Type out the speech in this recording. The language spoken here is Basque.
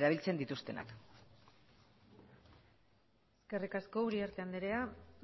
erabiltzen dituztenak eskerrik asko uriarte anderea